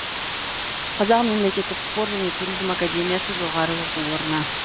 қазақ мемлекеттік спорт және туризм академиясы жоғары оқу орны